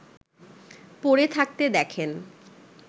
পড়ে থাকতে দেখেন